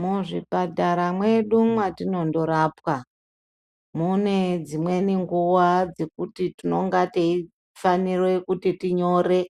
Muzvipatara mwedu mwatinondorapwa. Mune dzimweni nguwa dzekuti tinonga teifanire kuti tinyore